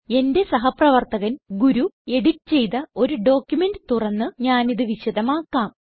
എന്റെ സഹപ്രവർത്തകൻ ഗുരു എഡിറ്റ് ചെയ്ത ഒരു ഡോക്യുമെന്റ് തുറന്ന് ഞാനിത് വിശദമാക്കാം